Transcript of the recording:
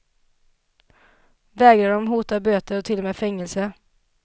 Vägrar de hotar böter och till och med fängelse.